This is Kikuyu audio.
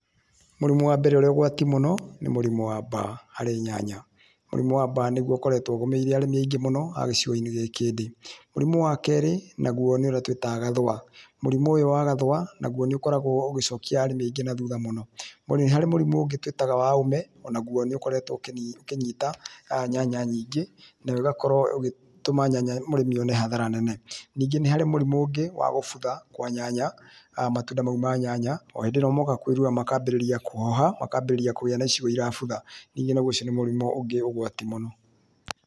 Mũrimũ wa mbere ũrĩ ũgwati mũno nĩ mũrimũ wa mbaa harĩ nyanya mũrimũ wa mbaa nĩguo ũkoretwo ũgũmĩire arĩmi aingĩ mũno a gĩcigo-inĩ gĩkĩ ndĩ, mũrimũ wa kerĩ nĩ ũrĩa twĩtaga gathũa, mũrimũ ũyũ wa gathũa naguo nĩ ũkoragwo ũgĩcokia arĩmi aingĩ na thutha mũno, nĩ harĩ mũrimũ ũngĩ twĩtaga wa ũũme o naguo nĩ ũkoretwo ũkĩnyita nyanya nyingĩ nayo ĩgakorwo ĩgĩtũma nyanya , mũrĩmi one hathara nene, ningĩ nĩ harĩ mũrimũ ũngĩ wa gũbutha kwa nyanya, matunda mau ma nyanya o hĩndĩ ĩrĩa moka kwĩruha makambĩrĩria kũhoha ma kambĩrĩria kũgĩa na icigo cirabutha ningĩ ũcio nĩ mũrimũ ũngĩ ũgwati mũno.